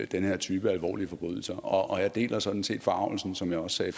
den her type af alvorlige forbrydelser og jeg deler sådan set forargelsen som jeg også sagde